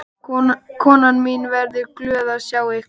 Konan mín verður glöð að sjá ykkur.